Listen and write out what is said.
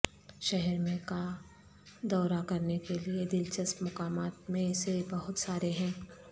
شہر میں کا دورہ کرنے کے لئے دلچسپ مقامات میں سے بہت سارے ہیں